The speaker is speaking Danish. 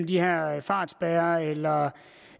de her fartspærrere eller